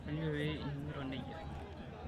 Kainyoo pee iningito nejia?